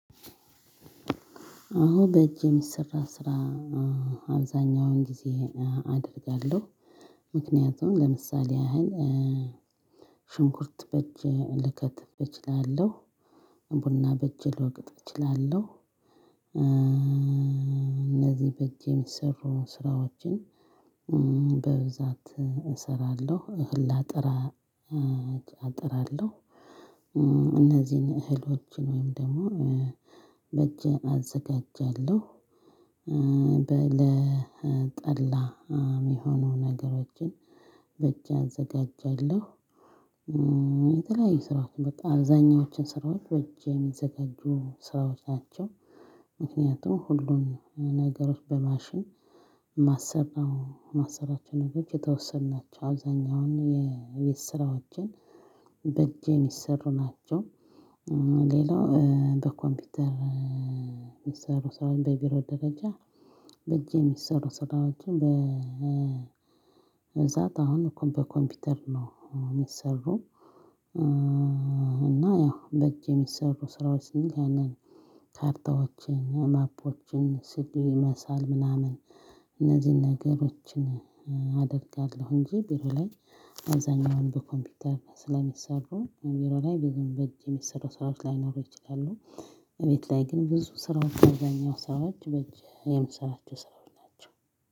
አዎ በእጅ የሚሰራ ስራ አብዛኛውን ጊዜ አደርጋለሁ። ምክንያቱም ለምሳሌ ያህል ሽንኩርት በእጅ ልከትፍ እችላለሁ። ቡና በእጅ ልወቅጥ እችላለሁ። እነዚህ በእጅ የሚሰሩ ስራዎችን በብዛት እሰራለሁ። እህል አጠራለሁ። እነዚህን እህሎችን ወይም ደግሞ በእጄ አዘጋጃለሁ። ለጠላ የሚሆኑ ነገሮችን በእጄ አዘጋጃለሁ። የተለያዩ ስራዎችን በቃ አብዛኛዎችን ስራዎች በእጅ የሚዘጋጁ ስራዎች ናቸው። ምክንያቱም ሁሉን ነገሮች በማሽን የማሰራቸው ነው። የተወሰኑ ናቸው አብዛኛውን የቤት ስራዎቼን በእጅ የሚሰሩ ናቸው። ሌላው በኮምፒውተር የሚሰሩ ስራዎች በቢሮ ደረጃ በእጅ ሚሰሩ ስራዎችን በብዛት አሁን በኮምፒውተር ነው የሚሰሩ። እና ያው በእጅ የሚሰሩ ስራዎች ስንል ያንን ካርታዎችን ማፖችን ሲዲ መሳል ምናምን እነዚህን ነገሮችን አደርጋለሁ። እንጂ ቢሮ ላይ አብዛኛውን በኮምፒውተር ስለሚሰሩ ቢሮ ላይ ብዙም በእጅ የሚሰሩ ስራዎች ላይኖሩ ይችላሉ። እቤት ላይ ግን ብዙ ስራዎች አብዛኛው ስራዎች በእጅ የምሰራቸው ስራዎች ናቸው።